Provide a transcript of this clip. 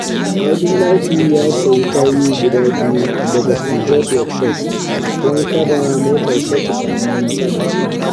Abdullahi ya sayi sabbin tayu guda biyu daga Peugeaot Workshop don kada motarsa ta samu matsala.